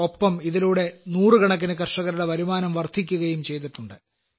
ഒപ്പം ഇതിലൂടെ നൂറകണക്കിന് കർഷകരുടെ വരുമാനം വർദ്ധിച്ചിട്ടുണ്ട്